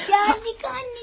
Gəldik, anacığım.